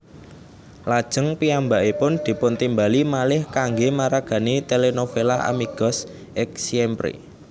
Lajeng piyambakipun dipuntimbali malih kangge maragani telenovela Amigos X Siempre